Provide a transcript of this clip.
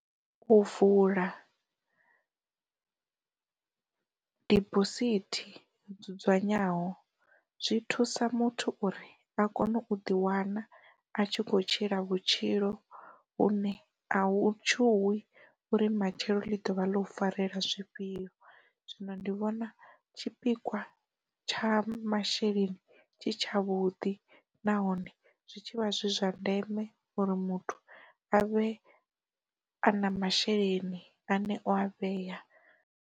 U vula diphosithi dzudzanyeaho zwi thusa muthu uri, a kone u ḓi wana a tshi kho tshila vhutshilo vhune a u tshuwi uri matshelo ḽi dovha ḽa u farela zwifhio, zwino ndi vhona tshipikwa tsha masheleni tshi tshavhuḓi nahone zwi tshivha zwi zwa ndeme uri muthu a vhe a na masheleni ane o a vhea.